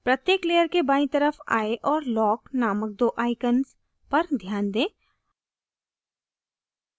प्रत्येक layer के बायीं तरफ eye और lock नामक दो icons पर ध्यान दें